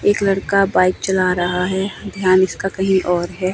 एक लड़का बाइक चला रहा है ध्यान इसका कहीं और है।